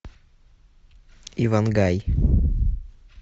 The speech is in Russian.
ивангай